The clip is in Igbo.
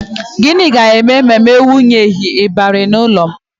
Gịnị ga-eme ma m ewunyeghi ịbarị n'ụlọ m?